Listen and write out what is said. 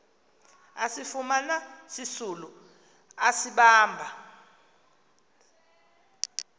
asifumana sisisulu asibamba